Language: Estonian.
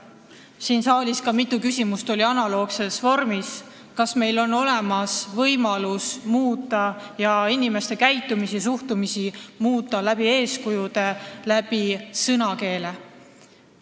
Siin saalis oli mitu küsimust analoogses vormis: kas meil on olemas võimalus muuta inimeste käitumist ja suhtumist eeskuju ja sõnakeele abil?